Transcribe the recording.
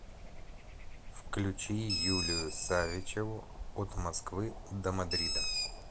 включи юлию савичеву от москвы до мадрида